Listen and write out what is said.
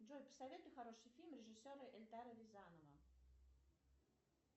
джой посоветуй хороший фильм режиссера эльдара рязанова